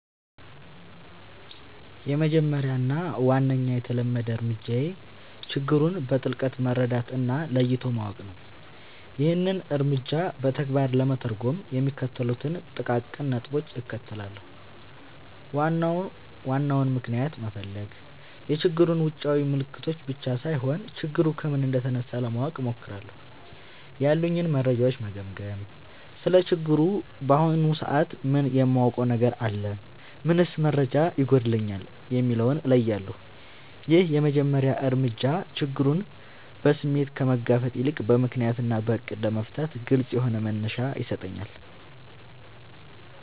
—የመጀመሪያው እና ዋነኛው የተለመደ እርምጃዬ ችግሩን በጥልቀት መረዳት እና ለይቶ ማወቅ ነው። ይህንን እርምጃ በተግባር ለመተርጎም የሚከተሉትን ጥቃቅን ነጥቦች እከተላለሁ፦ ዋናውን ምክንያት መፈለግ፣ የችግሩን ውጫዊ ምልክቶች ብቻ ሳይሆን፣ ችግሩ ከምን እንደተነሳ ለማወቅ እሞክራለሁ። ያሉኝን መረጃዎች መገምገም: ስለ ችግሩ በአሁኑ ሰዓት ምን የማውቀው ነገር አለ? ምንስ መረጃ ይጎድለኛል? የሚለውን እለያለሁ። ይህ የመጀመሪያ እርምጃ ችግሩን በስሜት ከመጋፈጥ ይልቅ በምክንያት እና በዕቅድ ለመፍታት ግልጽ የሆነ መነሻ ይሰጠኛል።